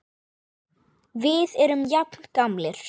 Við erum jafn gamlir.